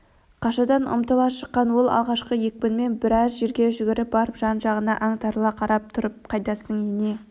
қашадан ұмтыла шыққан ол алғашқы екпінімен біраз жерге жүгіріп барып жан-жағына аңтарыла қарап тұрып қайдасың ене